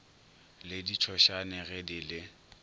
le ditšhošane ge di le